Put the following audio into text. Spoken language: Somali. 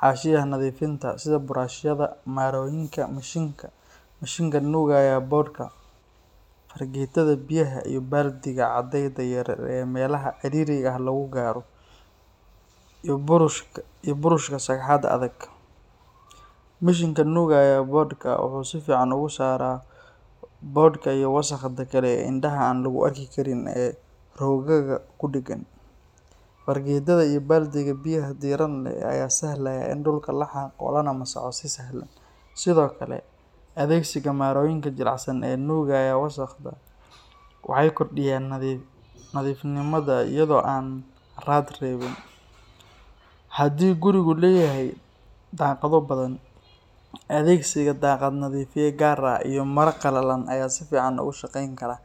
xashiyaxa nadifinta, sidhe brush yada, mnaroyinka, mishinka, mishinkan nugaya borka, faragetada biyaxa, iyo baldiga adeyda yaryar ee melaha ciririga lagugaro, iyo burushka adag, mishinka nugayo borka, wuxu su fican ogusara, bodka iyo wasaqda kae ee indaxa laguarkikarin ee rogaga kudagan, fargetada iyo baldiga biyaxa diiran leh aya sifican saxlaya in dulka laxago lanadago si sahlan, Sidhokale adegsiga marayinka jilicsan ee nugaya wasaqda, waxay kordiyan nadifnimada iyado aa raat rebin, hadii guriga leyaxay daqado badan, adegsiga daqadaxa nadifiya gaar ah iyo mara qalalan aya sifican logushageyn kara,